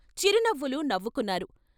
చిరునవ్వులు నవ్వుకున్నారు.